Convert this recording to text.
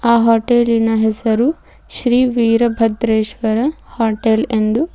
ಆ ಹೋಟೆಲಿನ ಹೆಸರು ಶ್ರೀ ವೀರಭದ್ರೆಶ್ವ್ರರ ಹೋಟೆಲ್ ಎಂದು--